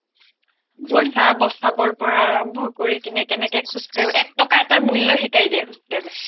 পইচা বচাবৰ পৰা আৰম্ভ কৰি কিনে কেনেকে খোজ কাঢ়ি একটকা এটাৰ মূল্য শিকাই দিয়ে hostel এ